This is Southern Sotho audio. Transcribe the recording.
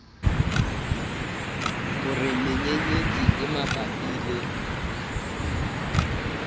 hore menyenyetsi e mabapi le